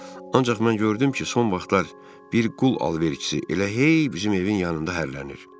Ancaq mən gördüm ki, son vaxtlar bir qul alverçisi elə hey bizim evin yanında hərələnir.